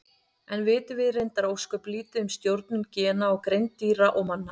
Enn vitum við reyndar ósköp lítið um stjórnun gena á greind dýra og manna.